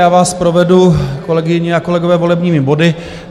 Já vás provedu, kolegyně a kolegové, volebními body.